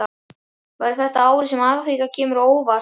Verður þetta árið sem Afríka kemur á óvart?